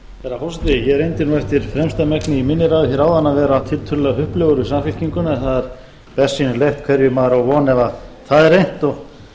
herra forseti ég reyndi nú eftir fremsta megni í minni ræðu hér áðan að vera tiltölulega hupplegur við samfylkinguna en það er bersýnilegt hverju maður á von ef það er reynt og